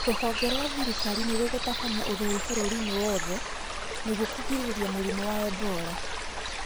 Rũhonge rwa thirikari nĩrũgũtabania ũtheru bũrũri-inĩ wothe nĩguo kũgirĩrĩria mũrimũ wa Ebola